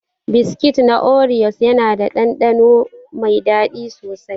Biskit na oriyos yana da ɗanɗano mai daɗi sosai.